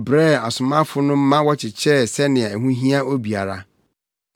brɛɛ asomafo no ma wɔkyekyɛɛ sɛnea ɛho hia obiara.